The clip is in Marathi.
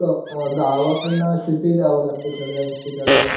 गावाकडनं सिटीत यावं लागतं सगळ्यां गोष्टी करायला.